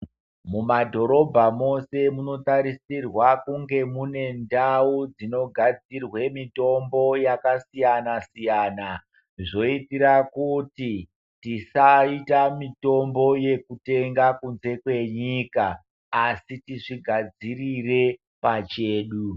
Mumadhorobha mose munotarisirwa kunge mune ndau dzinogadzirwe mitombo yakasiyana-siyana zvoitira kuti tisaita mitombo yekutenga kunze kwenyika asi tizvigadzirire pachedu.